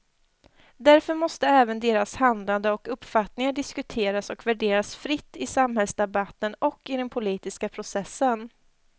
Därför måste även deras handlande och uppfattningar diskuteras och värderas fritt i samhällsdebatten och i den politiska processen.